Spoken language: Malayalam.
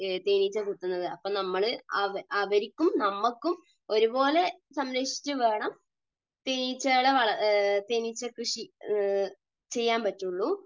തേനീച്ച കുത്തുന്നത്. അപ്പോൾ നമ്മൾ അവർക്കും നമുക്കും ഒരുപോലെ സംരക്ഷിച്ചുവേണം തേനീച്ചകളെ വളർ, തേനീച്ചകൃഷി ചെയ്യാൻ പറ്റുകയുള്ളൂ.